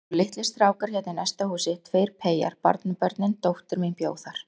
Það voru litlir strákar hérna í næsta húsi, tveir peyjar, barnabörnin, dóttir mín bjó þar.